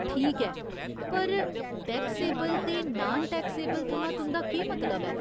ठीक ऐ, पर 'टैक्सेबल' ते 'नान टैक्सेबल' थमां तुं'दा केह् मतलब ऐ ?